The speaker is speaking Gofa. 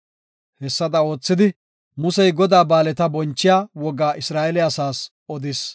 Hessada oothidi, Musey Godaa ba7aaleta bonchiya wogaa Isra7eele asaas odis.